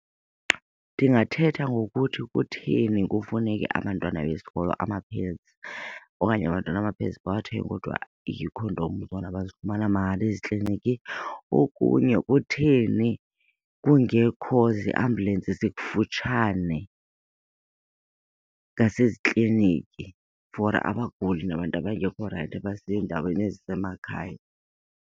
Ndingathetha ngokuthi kutheni kufuneke abantwana besikolo ama-pads okanye abantwana ama-pads bawathenge kodwa iikhondom zona bazifumana mahala ezikliniki. Okunye kutheni kungekho ziambulensi zikufutshane ngasezikliniki for abaguli nabantu abangekho right abasendaweni ezisemakhaya.